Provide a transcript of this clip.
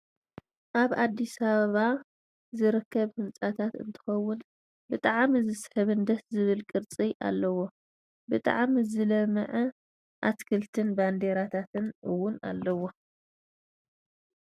ኣብ ኣዲስ ኣበባ ዝርከብ ህንፃታት እንትከውን ብጥዕሚ ዝስሕብን ደስ ዝብል ቕርፂ ኣለዎ ። ብጣዕሚ ዝለመዕ ኣትክልቲ ን ባንዴራታት ኣውን ኣለዎ ።